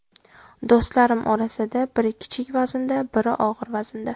Do‘stlarim orasida biri kichik vaznda, biri og‘ir vaznda.